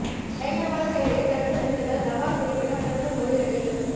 பயங்கரவாதச் செயல்களை தடுத்து நிறுத்துங்கள் நவாஸ் ஷெரீஃப்பிடம் பிரதமர் மோடி கண்டிப்பு